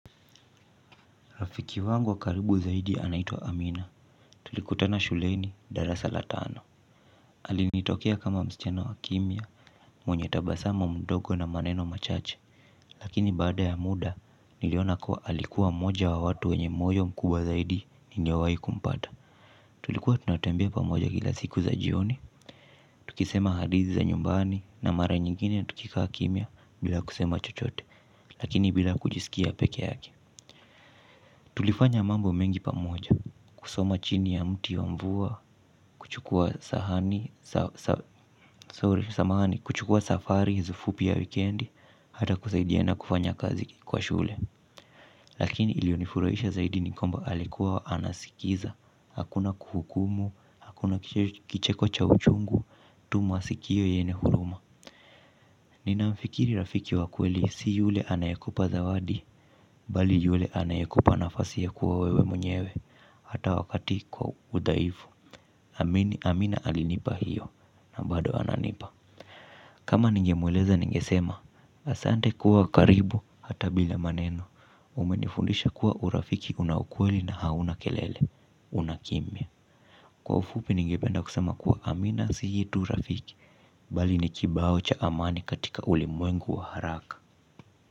Rafiki wangu wa karibu zaidi anaitwa Amina, tulikutana shuleni darasa la tano. Alinitokea kama msichana wa kimya, mwenye tabasamu mdogo na maneno machache. Lakini baada ya muda, niliona kuwa alikuwa mmoja wa watu wenye moyo mkubwa zaidi ningewai kumpata. Tulikuwa tunatembea pamoja kila siku za jioni, tukisema hadithi za nyumbani na mara nyingine na tukiksa kimya bila kusema chochote, lakini bila kujisikia peke yake. Tulifanya mambo mengi pamoja, kusoma chini ya mti wa mvua, kuchukua safari, fupi ya wikendi, hata kusaidia na kufanya kazi kwa shule. Lakini iliyonifurahisha zaidi ni kwamba alikuwa anasikiza, hakuna kuhukumu, hakuna kicheko cha uchungu, tumasikio yenye huruma. Ninamfikiri rafiki wa kweli si yule anayekupa zawadi. Bali yule anayakupa nafasi ya kuwa wewe mwenyewe hata wakati kwa udhaifu Amini amina alinipa hiyo na bado ananipa. Kama ningemweleza ningesema. Asante kuwa karibu hata bila maneno. Umenifundisha kuwa urafiki una ukweli na hauna kelele. Unakimya. Kwa ufupi ningependa kusema kuwa amina si tu rafiki bali ni kibao cha amani katika ulimwengu wa haraka.